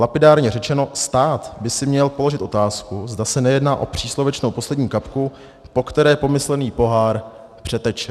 Lapidárně řečeno, stát by si měl položit otázku, zda se nejedná o příslovečnou poslední kapku, po které pomyslný pohár přeteče.